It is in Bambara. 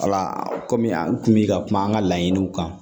Wala kɔmi an kun bi ka kuma an ka laɲiniw kan